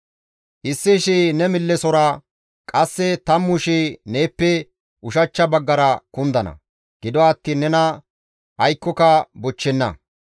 Issi shii ne millesora, qasse tammu shii neeppe ushachcha baggara kundana; gido attiin nena aykkoyka bochchenna.